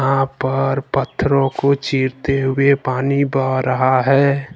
यहां पहाड़ पत्थरों को चीरते हुए पानी बह रहा है।